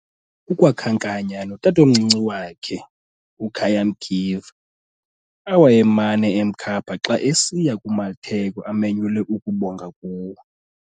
Ukwakhankanya notatomncinci wakhe, uKhaya Mkiva, awayemana emkhapha xa esiya kumatheko amenyelwe ukubonga kuwo.